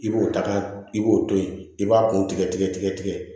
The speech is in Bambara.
I b'o ta ka i b'o to yen i b'a kun tigɛ tigɛ